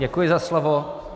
Děkuji za slovo.